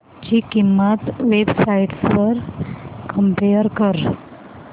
ची किंमत website वर कम्पेअर कर